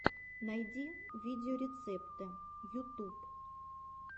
найди видеорецепты ютуб